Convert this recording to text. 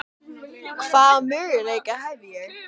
Hvaða möguleika hef ég?